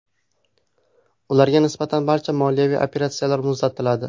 Ularga nisbatan barcha moliyaviy operatsiyalar muzlatiladi.